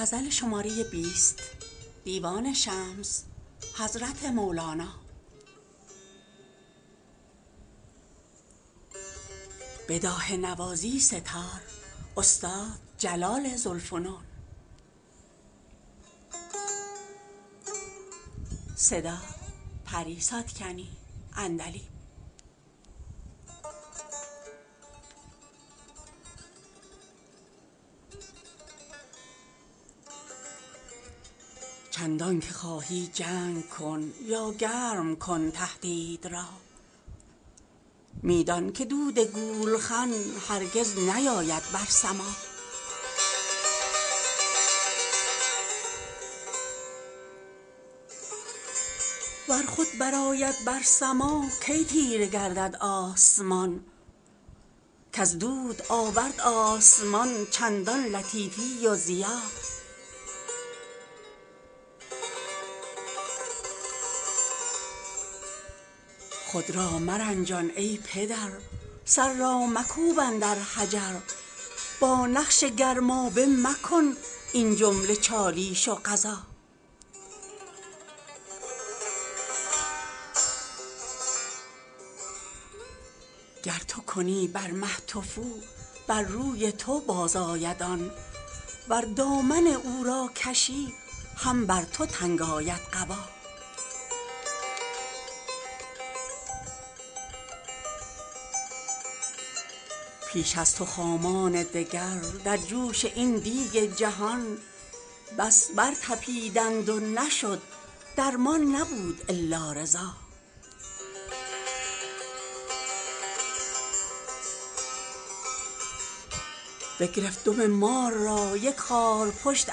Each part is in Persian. چندانکه خواهی جنگ کن یا گرم کن تهدید را می دان که دود گولخن هرگز نیاید بر سما ور خود برآید بر سما کی تیره گردد آسمان کز دود آورد آسمان چندان لطیفی و ضیا خود را مرنجان ای پدر سر را مکوب اندر حجر با نقش گرمابه مکن این جمله چالیش و غزا گر تو کنی بر مه تفو بر روی تو بازآید آن ور دامن او را کشی هم بر تو تنگ آید قبا پیش از تو خامان دگر در جوش این دیگ جهان بس برطپیدند و نشد درمان نبود الا رضا بگرفت دم مار را یک خارپشت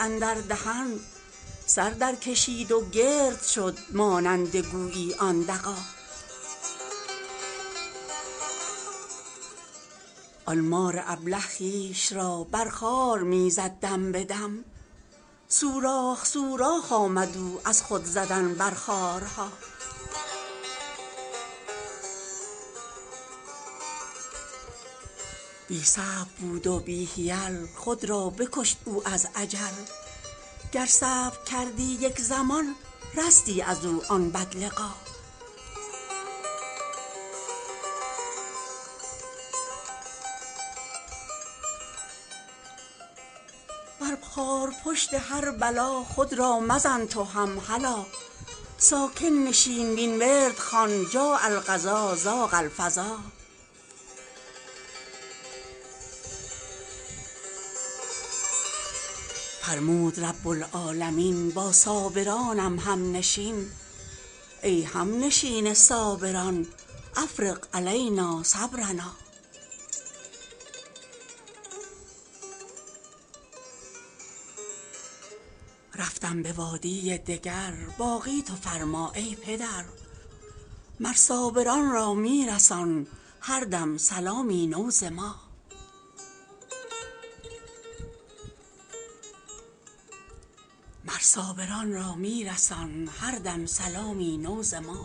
اندر دهن سر درکشید و گرد شد مانند گویی آن دغا آن مار ابله خویش را بر خار می زد دم به دم سوراخ سوراخ آمد او از خود زدن بر خارها بی صبر بود و بی حیل خود را بکشت او از عجل گر صبر کردی یک زمان رستی از او آن بدلقا بر خارپشت هر بلا خود را مزن تو هم هلا ساکن نشین وین ورد خوان جاء القضا ضاق الفضا فرمود رب العالمین با صابرانم همنشین ای همنشین صابران افرغ علینا صبرنا رفتم به وادی دگر باقی تو فرما ای پدر مر صابران را می رسان هر دم سلامی نو ز ما